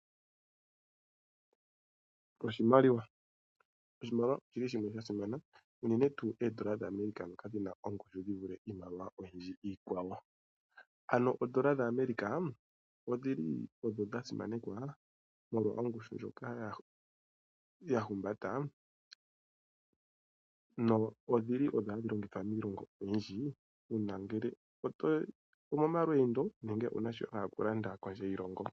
Oshimaliwa, oshimaliwa oshili shasimana unene tuu oondola dhaAmerica odhina ongushu yivule iimaliwa oyindji. Ano oondola dhaAmerica odhili odho dhasimanekwa molwa ongushu ndjoka yahumbata nodhili hadhi longithwa miilongo oyindji uuna omo malweendo nenge wunashoka tolanda kondje yiilongo.